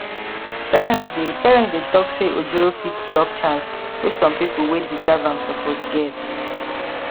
parents dey parents dey talk say ojoro fit block chance wey some people wey deserve am suppose get